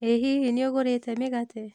ĩ hihi nĩũgũrĩte mĩgate?